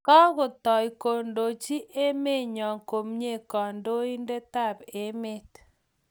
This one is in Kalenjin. Kakotau kondochi emenyo komnye kandoindetap emet